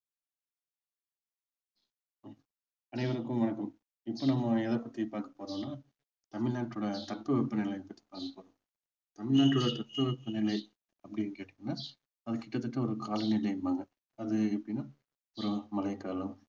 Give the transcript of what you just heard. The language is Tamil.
அனைவருக்கும் வணக்கம் இப்போ நம்ம எதை பற்றி பார்க்க போறோம்னா தமிழ்நாட்டோட தட்பவெப்ப நிலைய பற்றி பார்க்க போறோம் தமிழ்நாடோட தட்பவெட்பநிலை அப்படின்னு கேட்டீங்கன்னா அது கிட்டதட்ட ஒரு காலநிலைம்பாங்க அது எப்படின்னா ஒரு மழைக்காலம்,